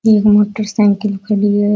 एक motorcycle खड़ी है।